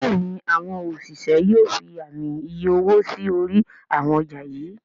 Béèni àwọn òṣìṣẹ́ yóò fí Ààmì iye owó sí orí àwọn ọjà yí.